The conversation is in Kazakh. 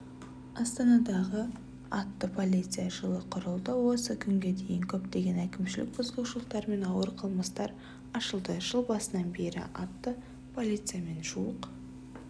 астанадағы атты полиция жылы құрылды осы күнге дейін көптеген әкімшілік бұзушылықтар мен ауыр қылмыстар ашылды жыл басынан бері атты полициямен жуық